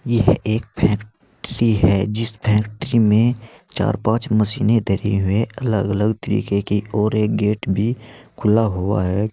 यह एक फैक्ट्री है जिस फैक्ट्री में चार पाच मशीने धरी हुई है अलग अलग तरीके की और एक गेट भी खुला हुआ है।